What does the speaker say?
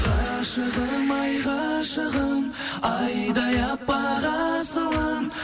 ғашығым ай ғашығым айдай аппақ асылым